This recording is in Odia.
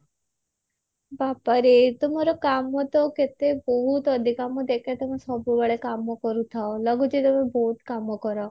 ବାବା ରେ ତମର କାମ ତ କେତେ ବହୁତ ଅଧିକା ମୁଁ ଦେଖେ ତମ ସବୁବେଳେ କାମ କରୁଥାଅ ଲାଗୁଛି ତମେ ବହୁତ କାମ କର